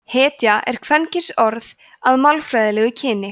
hetja er kvenkynsorð að málfræðilegu kyni